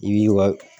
I b'i ka